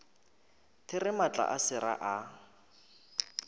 there maatla a sera a